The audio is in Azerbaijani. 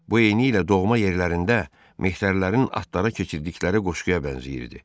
Bu eynilə doğma yerlərində mehterlərin atlara keçirdikləri qoşquya bənzəyirdi.